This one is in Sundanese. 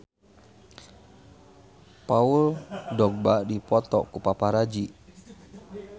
Paul Dogba dipoto ku paparazi